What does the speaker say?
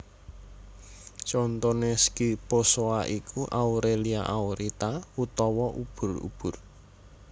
Contoné Scyphozoa iku Aurelia Aurita utawa ubur ubur